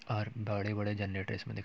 और बड़े-बड़े जनरेटर इसमें--